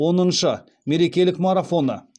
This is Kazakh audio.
оныншы мерекелік марафоны